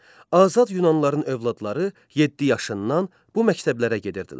Azad Yunanlıların övladları 7 yaşından bu məktəblərə gedirdilər.